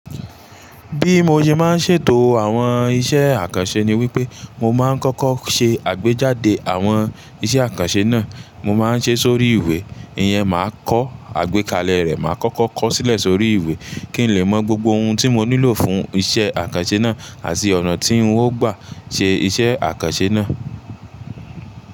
Bí mo ṣe máa ń ṣètò àwọn iṣẹ́ àkànṣe ni wípé mo máa ń kọ́kọ́ ṣe àgbéjáde àwọn iṣẹ́ àkànṣe náà, mo máa ń ṣe sórí ìwé, ìyẹn máa kọ́ àgbékalẹ̀ rẹ̀, màá kọ́kọ́ kọ sílẹ̀ sórí ìwé kí n lè mọ gbogbo ohun tí mo nílò fún iṣẹ́ àkànṣe náà àti ọ̀nà tí n ó gbà ṣe iṣẹ́ àkànṣe náà.